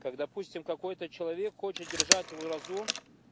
как допустим какой-то человек хочет держать уразу